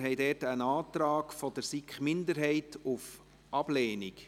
Wir haben dort einen Antrag der SiK-Minderheit auf Ablehnung.